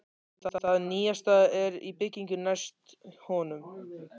Það nýjasta er í byggingu næst honum.